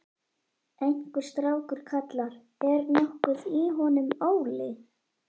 Einhver strákur kallar: Er nokkuð í honum, Óli?